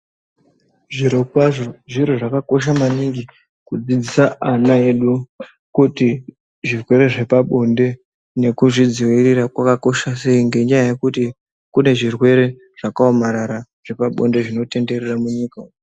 Zvirokwazvo zviro zvakakosha maningi kudzidzisa ana edu kuti zvirwere zvepabonde nekuzvidzirira kwakakosha sei. Ngenyaya yekuti kune zvirwere zvakaomarara zvepabonde zvinotenderera munyika umu.